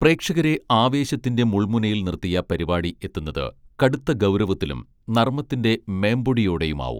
പ്രേക്ഷകരെ ആവേശത്തിന്റെ മുൾമുനയിൽ നിർത്തിയ പരിപാടി എത്തുന്നത് കടുത്ത ഗൗരവത്തിലും നർമ്മത്തിന്റെ മേമ്പൊടിയോടെയുമാവും